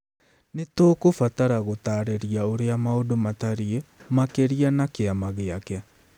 Nĩ tũkũbatara gũtaarĩria ũrĩa maũndũ matariĩ, makĩria na kĩama gĩake.